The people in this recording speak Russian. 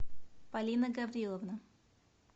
полина гавриловна